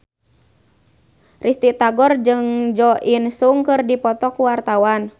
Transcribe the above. Risty Tagor jeung Jo In Sung keur dipoto ku wartawan